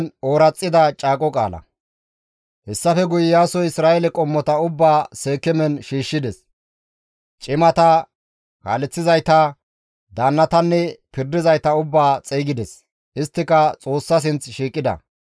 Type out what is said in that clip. Hessafe guye Iyaasoy Isra7eele qommota ubbaa Seekeemen shiishshides. Cimata, kaaleththizayta, daannatanne pirdizayta ubbaa xeygides; isttika Xoossa sinth shiiqida.